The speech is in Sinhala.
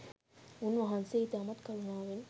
උන්වහන්සේ ඉතාමත් කරුණාවෙන්